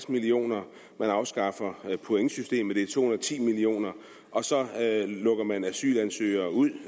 million kr man afskaffer pointsystemet det er to hundrede og ti million kr og så lukker man asylansøgere ud